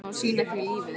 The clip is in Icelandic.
Hún á að sýna því lífið.